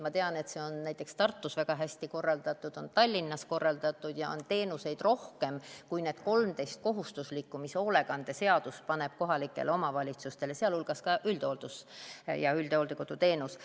Ma tean, et see on näiteks Tartus väga hästi korraldatud, on Tallinnas korraldatud ja teenuseid on rohkem kui need 13 kohustuslikku, mis hoolekandeseadus kohalikele omavalitsustele paneb, sealhulgas ka üldhooldus- ja üldhooldekoduteenus.